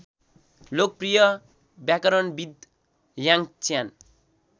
लोकप्रिय व्याकरणविद् याङच्यान